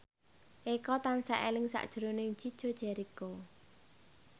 Eko tansah eling sakjroning Chico Jericho